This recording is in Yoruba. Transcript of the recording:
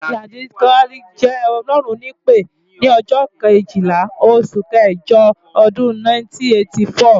Ladi kwali jẹ́ Ọlọ́run nípè ni ọjọ́ Kejìlá oṣù kẹjọ ọdún 1984.